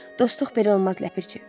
Dostluq belə olmaz, ləpirçi.